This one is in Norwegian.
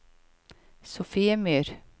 Sofiemyr